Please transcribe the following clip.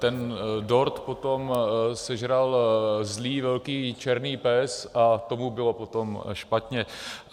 Ten dort potom sežral zlý velký černý pes a tomu bylo potom špatně.